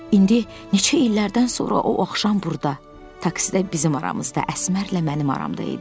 İndi neçə illərdən sonra o axşam burda, taksidə bizim aramızda, Əsmərlə mənim aramda idi.